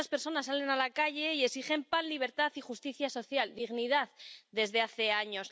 Muchas personas salen a la calle y exigen pan, libertad y justicia social, dignidad, desde hace años.